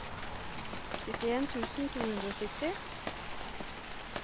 syttien tusen to hundre og sytti